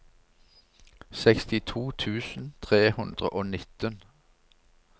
sekstito tusen tre hundre og nitten